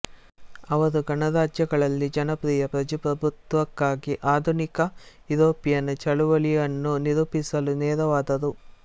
ಅವರು ಗಣರಾಜ್ಯಗಳಲ್ಲಿ ಜನಪ್ರಿಯ ಪ್ರಜಾಪ್ರಭುತ್ವಕ್ಕಾಗಿ ಆಧುನಿಕ ಯುರೋಪಿಯನ್ ಚಳುವಳಿಯನ್ನು ನಿರೂಪಿಸಲು ನೆರವಾದರು